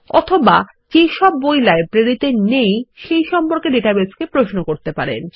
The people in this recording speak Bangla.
অথবা যে সব বই লাইব্রেরীতে নেই সেই সম্পর্কে ডাটাবেসকে প্রশ্ন করতে পারেন